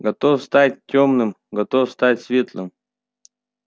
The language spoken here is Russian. готов стать тёмным готов стать светлым